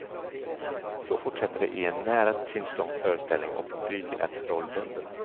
Så fortsätter det i en nära timslång föreställning och publiken är trollbunden.